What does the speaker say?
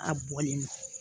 A bɔlen nɔ